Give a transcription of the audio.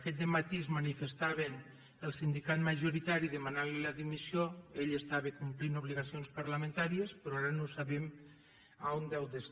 aquest dematí es manifestava el sindicat majoritari demanantli la dimissió ell estava complint obligacions parlamentàries però ara no sabem on deu ser